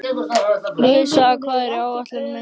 Louisa, hvað er á áætluninni minni í dag?